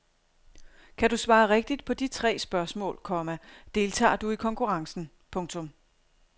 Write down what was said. Kan du svare rigtigt på de tre spørgsmål, komma deltager du i konkurrencen. punktum